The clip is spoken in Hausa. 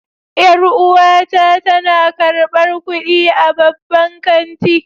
Yar'uwata tana karbar kudi a babban kanti.